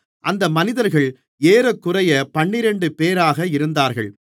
அந்த மனிதர்கள் ஏறக்குறைய பன்னிரண்டுபேராக இருந்தார்கள்